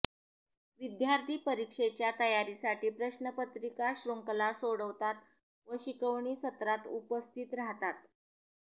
विद्यार्थी परिक्षेच्या तयारीसाठी प्रश्नपत्रिका श्रृंखला सोडवतात व शिकवणी सत्रास उपस्थित राहतात